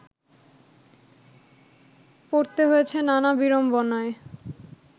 পড়তে হয়েছে নানা বিড়ম্বনায়